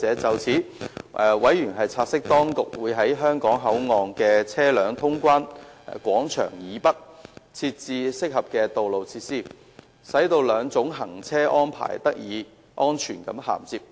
就此，委員察悉，當局會在香港口岸的車輛通關廣場以北，設置合適的道路設施，使兩種行車安排得以安全銜接。